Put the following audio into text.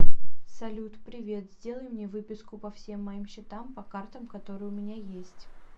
салют привет сделай мне выписку по всем моим счетам по картам которые у меня есть